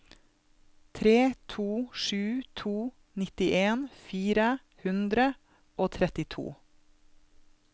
tre to sju to nittien fire hundre og trettito